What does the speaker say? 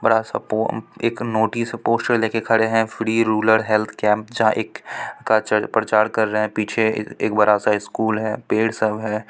बड़ा सा पोम एक नोटिस पोस्टर लेके खड़े हैं फ्री रूलर हेल्थ कैंप जहाँ एक का प्रचार कर रहें हैं पीछे एक बड़ा सा स्कुल है पेड़ सब है।